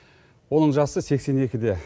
оның жасы сексен екіде